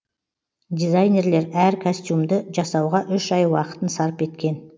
дизайнерлер әр костюмды жасауға үш ай уақытын сарп еткен